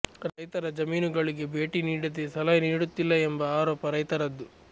ರೈತರ ಜಮೀನುಗಳಿಗೆ ಭೇಟಿ ನೀಡದೇ ಸಲಹೆ ನೀಡುತ್ತಿಲ್ಲ ಎಂಬ ಆರೋಪ ರೈತರದ್ದು